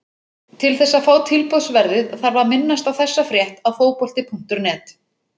Til þess að fá tilboðsverðið þarf að minnast á þessa frétt á Fótbolti.net.